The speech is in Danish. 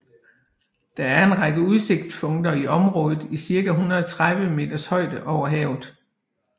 Der er en række udsigtspunkter i området i cirka 130 meters højde over havet